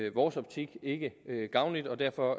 i vores optik ikke gavnlig og derfor